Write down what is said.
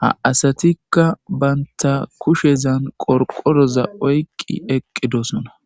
ha asatikka baynta kushezan qorqoroza oyqqi eqqidosona